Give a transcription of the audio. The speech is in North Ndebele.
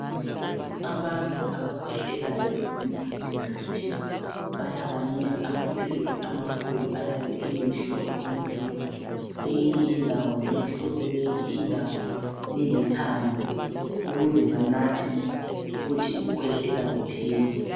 Abantu abakhwehlelayo kwezinye izikhathi bayabanika amaphilisi amakhulu ayabe eyimihlobo emibili kweyinye indawo limhlophe kweyinye indawo lilithanga ukuze banathe ukuthi ukukhwehlela kuphele.